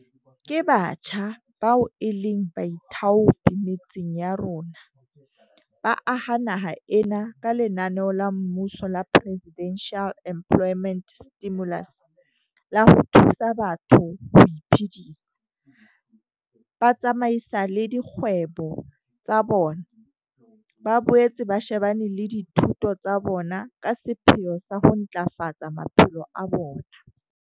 Ke batjha bao e leng baithaopi metseng ya rona, ba aha naha ena ka lenaneo la mmuso la Presidential Employment Stimulus la ho thusa batho ho iphedisa, ba tsamaisale dikgwebo tsa bona, ba boetse ba shebane le dithuto tsa bona ka sepheo sa ho ntlafafatsa maphelo a bona.